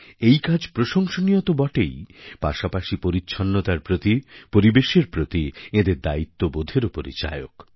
এই কাজ প্রশংসনীয় তো বটেই পাশাপাশি পরিচ্ছন্নতার প্রতি পরিবেশের প্রতি এঁদের দায়িত্ববোধেরও পরিচায়ক